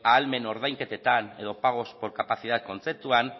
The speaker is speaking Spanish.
ahalmen ordainketetan edo pagos por capacidad kontzeptuan